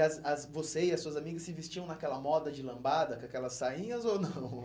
as as você e as suas amigas se vestiam naquela moda de lambada, com aquelas sainhas ou não?